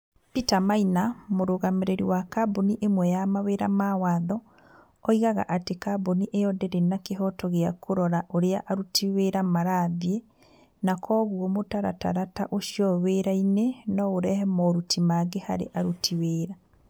Peter Maina mũrũgamĩrĩri wa kambuni ĩmwe ya mawĩra ma watho, oigaga atĩ kambuni ĩyo ndĩrĩ na kĩhooto gĩa kũrora ũrĩa aruti wĩra marathiĩ, na kwoguo, mũtaratara ta ũcio wĩra-inĩ no ũrehe moritũ mangĩ harĩ aruti wĩra.